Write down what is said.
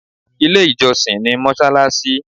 Ilé ìjọsìn ni mọ́ṣáláṣí.